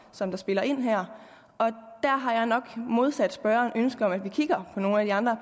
som spiller ind her der har jeg nok modsat spørgeren ønske om at vi kigger på nogle af de andre